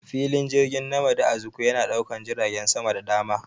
Filin jirgin Nmadi Azikiwe yana daukan jiragen sama da dama.